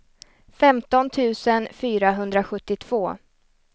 femton tusen fyrahundrasjuttiotvå